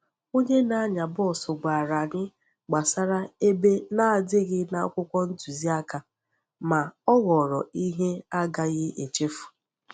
Onye na-anya bọs gwara anyị gbasara ebe na-adịghị na akwụkwọ ntuziaka, ma ọ ghọrọ ihe a gaghị echefu.